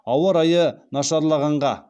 ауа райы нашарлағанға